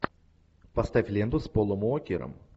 поставь ленту с полом уокером